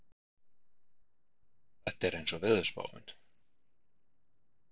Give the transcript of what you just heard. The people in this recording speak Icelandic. Þetta er eins og veðurspáin